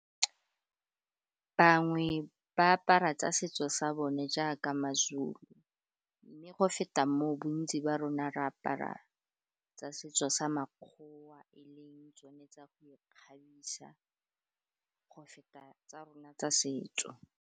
Bangwe ba apara tsa setso sa bone jaaka ma-Zulu, mme go feta moo bontsi ba rona re apara tsa setso sa makgoa e leng tsone tsa go ikgabisa, go feta tsa rona tsa setso.